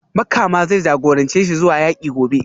Makama zai jagorance shi zuwa yaki gobe